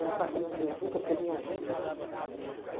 Era ficar aquele muvuca, porque vinha gente, né?